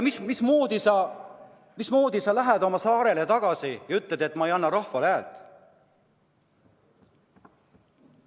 Mismoodi sa lähed oma saarele tagasi ja ütled, et ma ei anna rahvale häält?